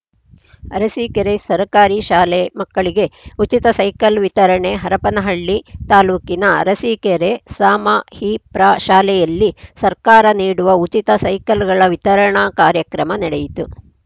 ಅರಸಿಕೇರಿ ಸರ್ಕಾರಿ ಶಾಲೆ ಮಕ್ಕಳಿಗೆ ಉಚಿತ ಸೈಕಲ್‌ ವಿತರಣೆ ಹರಪನಹಳ್ಳಿ ತಾಲೂಕಿನ ಅರಸೀಕೆರೆ ಸಮಹಿಪ್ರಾಶಾಲೆಯಲ್ಲಿ ಸರ್ಕಾರ ನೀಡುವ ಉಚಿತ ಸೈಕಲ್‌ಗಳ ವಿತರಣಾ ಕಾರ್ಯಕ್ರಮ ನಡೆಯಿತು